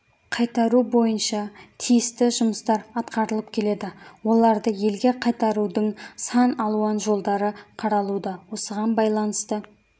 қайтару бойынша тиісті жұмыстар атқарылып келеді оларды елге қайтарудың сан алуан жолдары қаралуда осыған байланысты